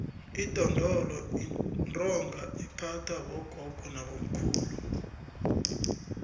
idondolo yintonga ephathwa bogogo nabobamkhulu